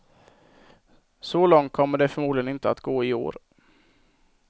Så långt kommer det förmodligen inte att gå i år.